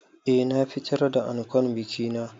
Eh na fitar da ankon biki na.